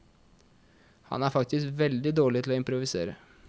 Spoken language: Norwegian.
Han er faktisk veldig dårlig til å improvisere.